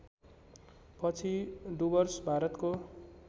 पछि डुवर्स भारतको